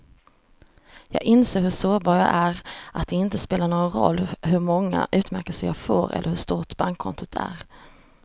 Jag inser hur sårbar jag är, att det inte spelar någon roll hur många utmärkelser jag får eller hur stort bankkontot är.